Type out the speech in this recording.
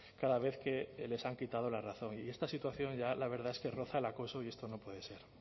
cada vez que les han quitado la razón y esta situación ya la verdad es que roza el acoso y esto no puede ser